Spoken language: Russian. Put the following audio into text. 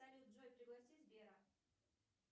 салют джой пригласи сбера